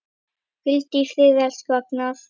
Hvíldu í friði, elsku Agnar.